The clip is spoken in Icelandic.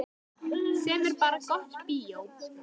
Sem er bara gott bíó.